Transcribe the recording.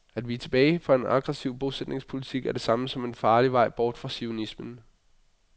At vige tilbage for en aggressiv bosætningspolitik er det samme som en farlig vej bort fra zionismen.